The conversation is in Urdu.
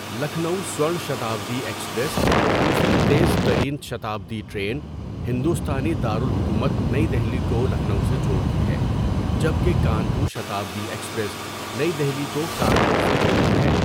لکھنؤ سوَرن شتابدی ایکسپریس، دوسری تیز ترین شتابدی ٹرین، ہندوستانی دارالحکومت نئی دہلی کو لکھنؤ سے جوڑتی ہے جبکہ کانپور شتابدی ایکسپریس نئی دہلی کو کانپور سے جوڑتی ہے۔